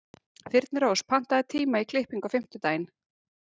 Þyrnirós, pantaðu tíma í klippingu á fimmtudaginn.